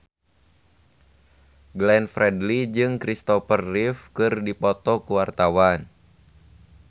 Glenn Fredly jeung Christopher Reeve keur dipoto ku wartawan